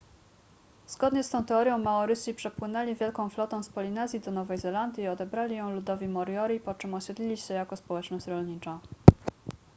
zgodnie z tą teorią maorysi przepłynęli wielką flotą z polinezji do nowej zelandii i odebrali ją ludowi moriori po czym osiedlili się jako społeczność rolnicza